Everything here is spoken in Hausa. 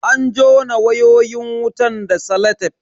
An jona wayoyin wutan da salatef.